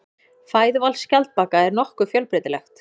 Fæðuval skjaldbaka er nokkuð fjölbreytilegt.